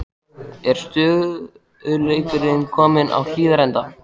Er stöðugleikinn kominn á Hlíðarenda?